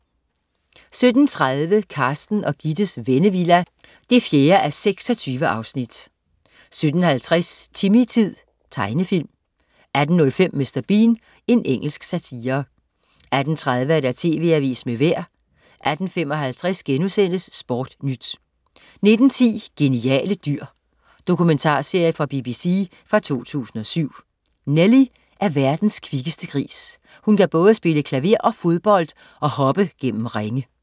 17.30 Carsten og Gittes Vennevilla 4:26 17.50 Timmy-tid. Tegenfilm 18.05 Mr. Bean. Engelsk satire 18.30 TV Avisen med Vejret 18.55 SportNyt* 19.10 Geniale dyr. Dokumentarserie fra BBC fra 2007. Nellie er verdens kvikkeste gris. Hun kan både spille klaver og fodbold og hoppe gennem ringe